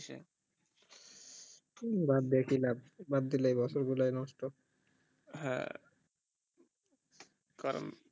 বাদ দিয়ে কি লাভ বাদ দিলেই বছর গুলায় নষ্ট হ্যাঁ কারণ